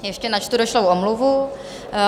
Ještě načtu došlou omluvu.